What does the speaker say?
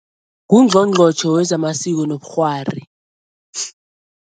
Ngungqongqotjhe wezamasiko nobukghwari.